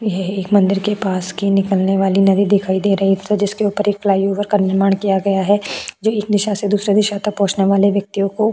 यह एक मंदिर के पास की निकलने वाली नदी दिखाई दे रही है जिसके ऊपर फ्लाईओवर का निर्माण किया गया है जो एक दिशा से दूसरे दिशा तक पहुंचने वाले व्यक्तियों को --